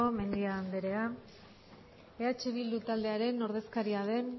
mendia andrea eh bildu taldearen ordezkaria den